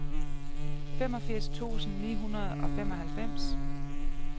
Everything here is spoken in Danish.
femogfirs tusind ni hundrede og femoghalvfems